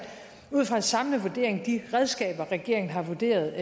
ud fra en samlet vurdering de redskaber regeringen har vurderet